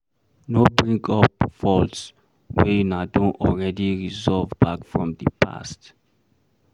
No bring up faults wey una don already resolve back from di past